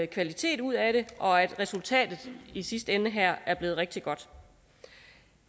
kvalitet ud af det og at resultatet i sidste ende her er blevet rigtig godt